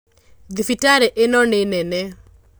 Thibitarĩ ĩno nĩnene.